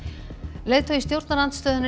leiðtogi stjórnarandstöðunnar í